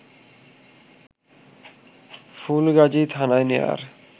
ফুলগাজী থানায় নেয়ার